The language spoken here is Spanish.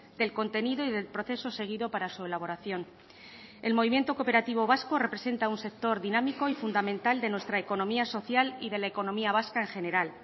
del contenido y del proceso seguido para su elaboración el movimiento cooperativo vasco representa un sector dinámico y fundamental de nuestra economía social y de la economía vasca en general